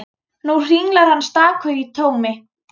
Nú hringlar hann stakur í tómi.